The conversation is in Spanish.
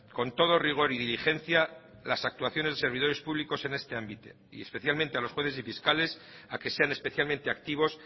con todo rigor y diligencia las actuaciones de servidores públicos en este ámbito y especialmente a los jueces y fiscales a que sean especialmente activos